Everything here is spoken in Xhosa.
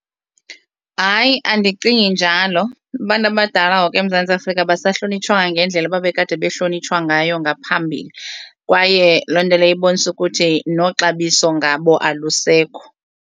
Hayi, andicingi njalo. Abantu abadala ngoku eMzantsi Afrika abasahlonitshwa ngendlela babekade behlonitshiwe ngayo ngaphambili kwaye loo nto leyo ibonisa ukuthi noxabiso ngabo alisekho.